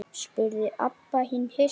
spurði Abba hin hissa.